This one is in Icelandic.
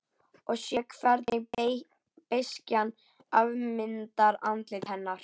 Og sé hvernig beiskjan afmyndar andlit hennar.